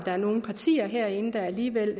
er nogle partier herinde der alligevel